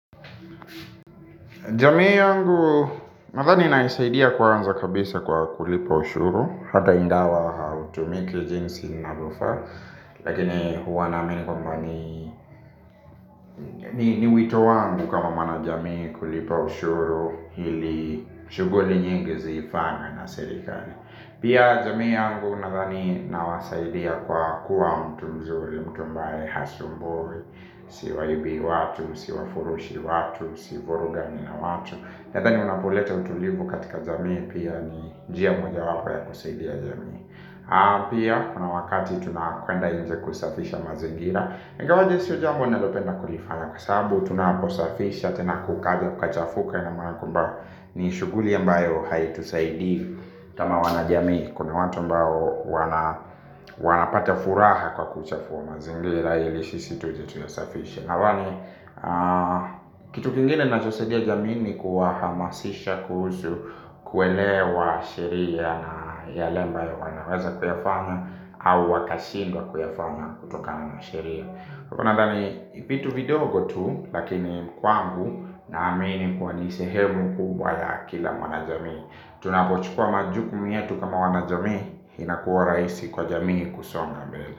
Jamii yangu nathani inanisaidia kwanza kabisa kwa kulipa ushuru. Hata ingawa hautumiki jinsi inavyofaa lakini huwa naamini kwamba ni ni wito wangu kama mwana jamii kulipa ushuru. Hili shuguli nyingi zifanye na serikari. Pia jamii yangu nadhani nawasaidia kwa kuwa mtu mzuli mtu ambaye hasumbui. Siwaibii watu, siwafurushi watu, sivurugani na watu nadhani unapoleta utulivu katika jamii pia ni njia moja wapo ya kusaidia jamii aa pia kuna wakati tunakwenda inje kusafisha mazingira ingawaje sio jambo nalopenda kulifanya. Kwa saabu tunaposafisha tena kukaja kukachafuka ina maana kwamba ni shughuli ambayo hai tusaidii kama wana jamii kuna watu ambao wanapata furaha kwa kuchafua mazingira. Yelishisi tuje tuyasafishe awani. Kitu kingine na chosaidia jamii ni kuwa hamasisha kuhusu kuelewa sheria ya lemba ya wanaweza kuyafanya. Au wakashindwa kuyafanya. Kutokana na sheria nadhani vitu vidogo tu. Lakini kwangu na amini kuwani sehebu kubwa ya kila mwana jamii tunapochukua majukumu yetu kama wana jamii inakuwa rahisi kwa jamii kusonga mbele.